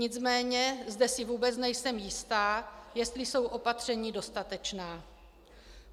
Nicméně zde si vůbec nejsem jistá, jestli jsou opatření dostatečná.